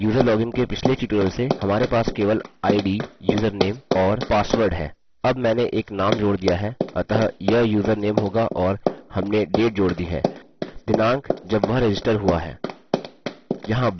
अतः user login के पिछले ट्यूटोरियल से हमारे पास केवल id username और password है अब मैंने एक नाम जोड़ दिया है अतः यह यूज़रनेम होगा और हमने date जोड़ दी है दिनाँक जब वह रजिस्टर हुआ है